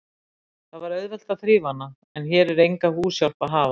Það var auðvelt að þrífa hana, en hér er enga húshjálp að hafa.